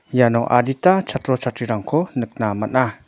iano adita chatro chatrirangko nikna man·a.